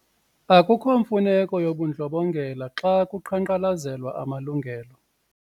Akukho mfuneko yobundlobongela xa kuqhankqalazelwa amalungelo.